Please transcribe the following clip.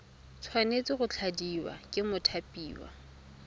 tshwanetse go tladiwa ke mothapiwa